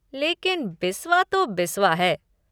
लेकिन बिस्वा तो बिस्वा है।